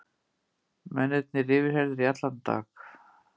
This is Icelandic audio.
Mennirnir yfirheyrðir í allan dag